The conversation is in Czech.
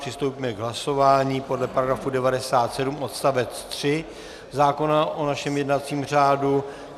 Přistoupíme k hlasování podle § 97 odst. 3 zákona o našem jednacím řádu.